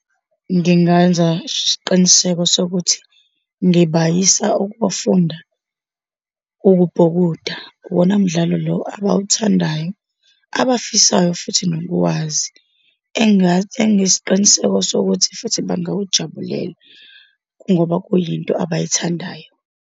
Ngingayenza isiqiniseko sokuthi ngibayisa ukuyofunda ukubhukuda. Uwona mdlalo lo abawuthandayo, abafisayo futhi nokuwazi, engathi enginesiqiniseko sokuthi futhi bangawujabulela kungoba kuyinto abayithandayo.